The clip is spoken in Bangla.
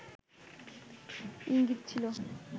ইঙ্গিত ছিল